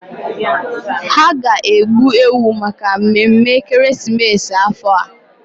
Ha ga-egbu ewu maka mmemme ekeresimesi afọ a.